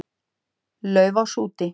Laufás út.